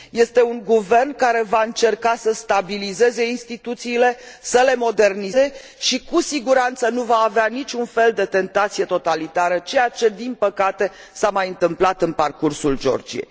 Este un guvern care va încerca să stabilizeze instituțiile, să le modernizeze și cu siguranță nu va avea niciun fel de tentație totalitară, ceea ce din păcate s a mai întâmplat în parcursul Georgiei.